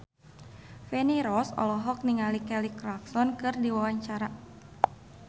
Feni Rose olohok ningali Kelly Clarkson keur diwawancara